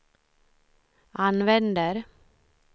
använder